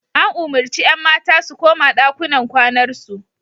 An umurci 'yan mata su koma ɗakunan kwanar su.